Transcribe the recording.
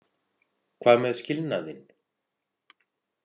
Hvað með skilnaðinn?